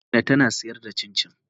Amina tana sayar da cincin.